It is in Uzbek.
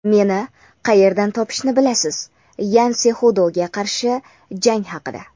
Meni qayerdan topishni bilasiz – Yan Sexudoga qarshi jang haqida.